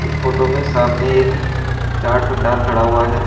इस फोटो में सामने एक चाट भंडार खड़ा हुआ है।